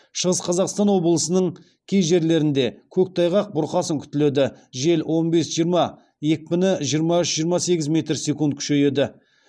шығыс қазақстан облысының кей жерлерінде көктайғақ бұрқасын күтіледі жел он бес жиырма екпіні жиырма үш жиырма сегіз метр секунд күшейеді